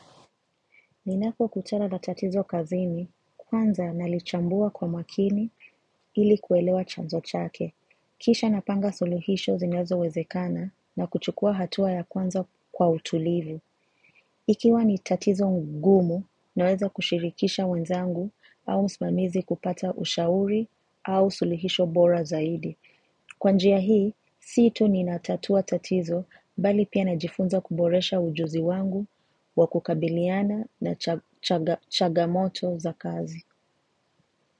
Ninako kutala na tatizo kazini kwanza nalichambua kwa makini ili kuelewa chanzo chake. Kisha napanga sulihisho zinyazo wezekana na kuchukua hatua ya kwanza kwa utulivu. Ikiwa ni tatizo ngumu naweza kushirikisha wenzangu au msimamizi kupata ushauri au sulihisho bora zaidi. Kwa njia hii, si tu ni natatua tatizo bali pia najifunza kuboresha ujuzi wangu, wakukabiliana na changa changa chagamoto za kazi.